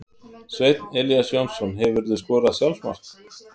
Sveinn Elías Jónsson Hefurðu skorað sjálfsmark?